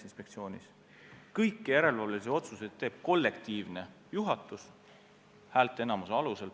Kõiki järelevalve otsuseid teeb kollektiivne juhatus häälteenamuse alusel.